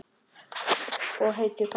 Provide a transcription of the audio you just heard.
Ég heiti Fanney.